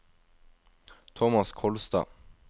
Tomas Kolstad